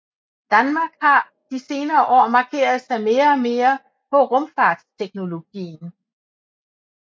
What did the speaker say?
Danmark har de senere år markeret sig mere og mere på rumfartsteknologien